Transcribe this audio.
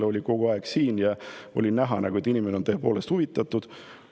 Ta oli kogu aeg siin ja oli näha, et inimene on tõepoolest huvitatud.